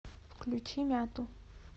включи мяту